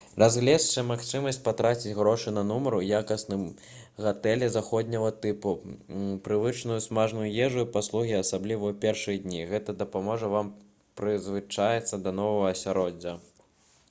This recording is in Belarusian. разгледзьце магчымасць патраціць грошы на нумар у якасным гатэлі заходняга тыпу прывычную смачную ежу і паслугі асабліва ў першыя дні гэта дапаможа вам прызвычаіцца да новага асяроддзя